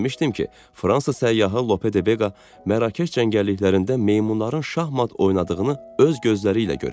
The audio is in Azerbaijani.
Demişdim ki, Fransa səyyahı Lope de Vega Mərakeş cəngəlliklərində meymunların şahmat oynadığını öz gözləri ilə görüb.